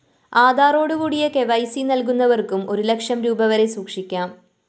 ആധാറോടുകൂടിയ KYC നല്കുന്നവര്‍ക്കും ഒരു lakh rupee വരെ സൂക്ഷിക്കാം